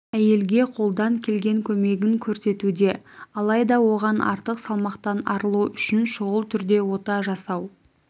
әйелге қолдан келген көмегін көрсетуде алайда оған артық салмақтан арылу үшін шұғыл түрде ота жасау